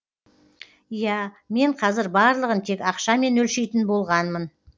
иә мен қазір барлығын тек ақшамен өлшейтін болғанмын